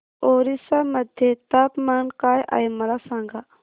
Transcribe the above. ओरिसा मध्ये तापमान काय आहे मला सांगा